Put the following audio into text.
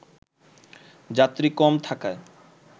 যাত্রী কম থাকায়